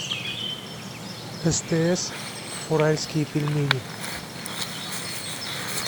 стс уральские пельмени